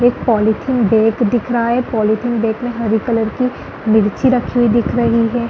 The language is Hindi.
एक पॉलीथिन बैग दिख रहा पॉलीथिन बैग में हरे कलर की मिर्ची रखी हुई दिख रही है।